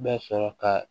Bɛ sɔrɔ ka